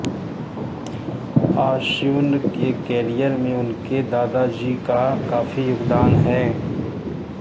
अश्विन के करियर में उनके दादाजी का काफी योगदान हैं